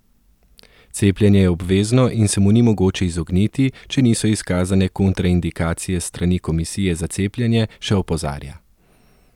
Cepljenje je obvezno in se mu ni mogoče izogniti, če niso izkazane kontraindikacije s strani komisije za cepljenje, še opozarja.